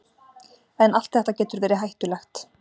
en allt þetta getur verið hættulegt